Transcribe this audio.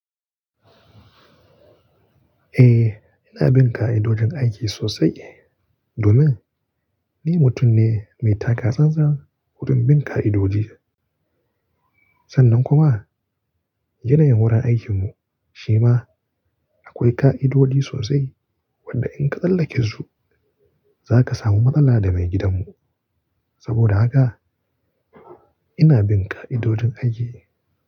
Eh, ina bin ka'idojin aiki sosai domin ni mutum ne mai taka tsantsan wurin bin ka'idoji. Sannan kuma irin wurin aikinmu shi ma akwai ka'idoji sosai wanda in ka tsallake su, za ka samu matsala da maigidanmu. Saboda haka ina bin ka'idojin aiki.